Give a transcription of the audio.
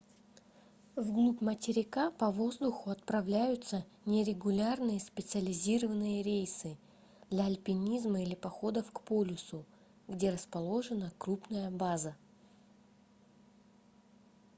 вглубь материка по воздуху отправляются нерегулярные специализированные рейсы для альпинизма или походов к полюсу где расположена крупная база